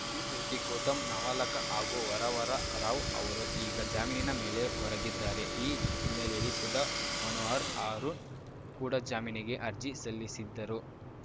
ಈ ಪೈಕಿ ಗೌತಮ್‌ ನವಲಖ ಹಾಗೂ ವರವರರಾವ್‌ ಅವರು ಈಗ ಜಾಮೀನಿನ ಮೇಲೆ ಹೊರಗಿದ್ದಾರೆ ಈ ಹಿನ್ನೆಲೆಯಲ್ಲಿ ಸುಧಾ ಮನೋಹರ್ ಆರುಣ್‌ ಕೂಡ ಜಾಮೀನಿಗೆ ಅರ್ಜಿ ಸಲ್ಲಿಸಿದ್ದರು